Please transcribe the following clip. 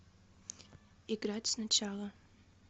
играть сначала